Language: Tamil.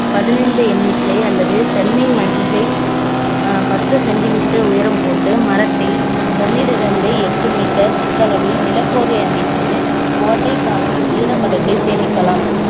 பதினைந்து எண்ணிக்கை அல்லது தென்னை மஞ்சை அஹ் பத்து centimeter உயரம் போட்டு மரத்தை ஒண்ணிலிருந்து எட்டு meter சுற்றளவில் நிலப்போர்வை அமைத்து கோடை காலத்தில ஈரப்பதத்தை சேமிக்கலாம்